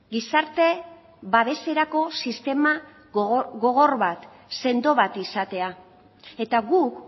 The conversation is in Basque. gizarte babeserako sistema gogor bat sendo bat izatea eta guk